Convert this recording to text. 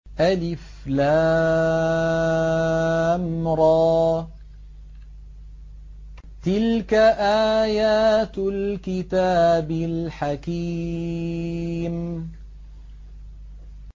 الر ۚ تِلْكَ آيَاتُ الْكِتَابِ الْحَكِيمِ